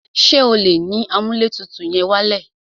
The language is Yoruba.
Ṣé o lè yín amúlẹ̀tutù yẹn wálẹ̀?